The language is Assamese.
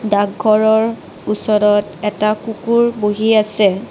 ডাকঘৰৰ ওচৰত এটা কুকুৰ বহি আছে।